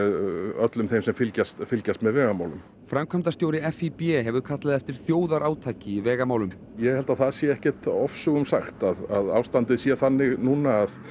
öllum þeim sem fylgjast fylgjast með vegamálum framkvæmdastjóri FÍB hefur kallað eftir þjóðarátaki í vegamálum ég held að það sé ekki ofsögum sagt að ástandið sé þannig núna